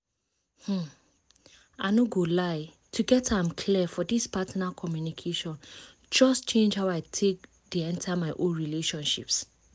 um i no go lie to get am clear for this partner communication just change how i take dey enter my own relationships